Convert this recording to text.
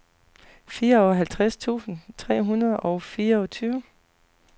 fireoghalvtreds tusind tre hundrede og fireogtyve